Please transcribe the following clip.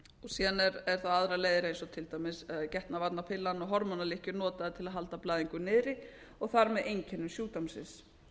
síðan eru það aðrar leiðir eins og til dæmis getnaðarvarnapillan og hormónalykkjur notaðar til að halda blæðinga niðri og þar með einkennum sjúkdómsins